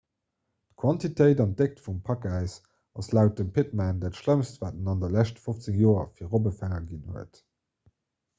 d'quantitéit an déckt vum pakäis ass laut dem pittman dat schlëmmst wat et an de leschte 15 joer fir robbefänger ginn huet